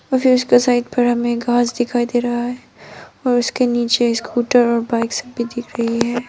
और फिर उसके साइड पर हमें घास दिखाई दे रहा है और उसके नीचे स्कूटर और बाइक्स भी दिख रही है।